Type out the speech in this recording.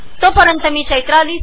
तोपर्यंत मी CDEEP IIT